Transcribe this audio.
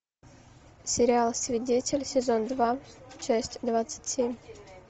сериал свидетель сезон два часть двадцать семь